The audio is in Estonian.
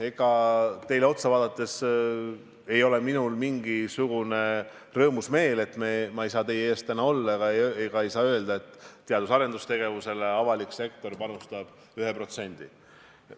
Ega minul ei ole teile otsa vaadates rõõmus meel, et ma ei saa täna teie ees olles öelda, et avalik sektor panustab teadus- ja arendustegevusele 1%.